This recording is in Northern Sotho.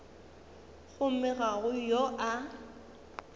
gomme ga go yo a